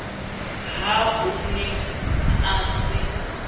ha o ne a se